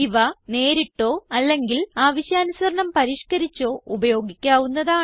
ഇവ നേരിട്ടോ അല്ലെങ്കിൽ ആവശ്യാനുസരണം പരിഷ്കരിച്ചോ ഉപയോഗിക്കാവുന്നതാണ്